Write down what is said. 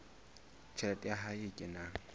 tjhelete ya hae e kenang